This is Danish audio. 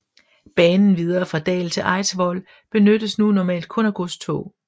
Banen videre fra Dal til Eidsvoll benyttes nu normalt kun af godstog